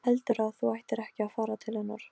Og einmana maður þjáist þegar hann grípur í tómt.